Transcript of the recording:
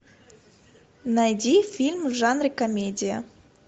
найди фильм в жанре комедия